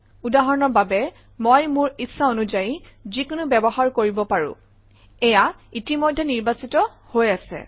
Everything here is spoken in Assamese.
উদাহৰণৰ বাবে মই মোৰ ইচ্ছানুযায়ী যিকোনো ব্যৱহাৰ কৰিব পাৰোঁ এয়া ইতিমধ্যেই নিৰ্বাচিত হৈ আছে